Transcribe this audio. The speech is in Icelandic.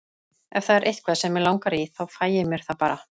Ef það er eitthvað sem mig langar í þá fæ ég mér það bara.